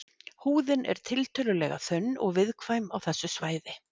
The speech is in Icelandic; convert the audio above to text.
Húðin er tiltölulega þunn og viðkvæm á þessu svæði.